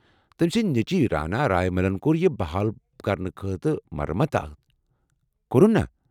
تمہِ سٕنٛدۍ نیٚچِو، رانا رایہ ملن کوٚر یہِ بحال كرنہٕ خاطرٕ مرمت ، كوٚرُن نا ؟